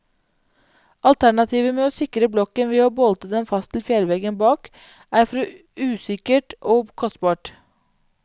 Alternativet med å sikre blokken ved å bolte den fast til fjellveggen bak, er for usikkert og kostbart.